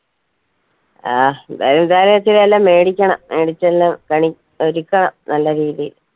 ആഹ് എന്തായി ഏന്തായാലു എനിക്കിതന്നെ മേടിക്കണം മേടിച്ചെല്ലും കണി ഒരുക്കണം നല്ല രീതീയിൽ